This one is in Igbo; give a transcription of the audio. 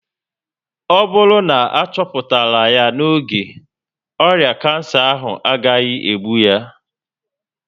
Ọ bụrụ na achoputara ya n'oge, ọrịa kansa ahụ agaghị egbu ya